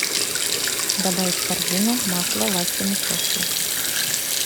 добавить в корзину масло васькино счастье